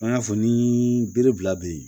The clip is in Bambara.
An y'a fɔ ni bere bila yen